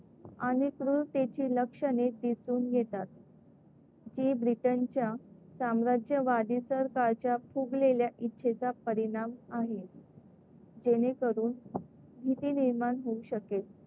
आणि क्रूरतेची लक्षणे दिसून येतात. जी ब्रिटनच्या साम्राज्यवादी सरकारच्या फुगलेल्या इच्छेचा परिणाम आहे. जेणेकरून भीती निर्माण होऊ शकेल.